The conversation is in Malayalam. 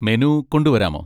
മെനു കൊണ്ടുവരാമോ?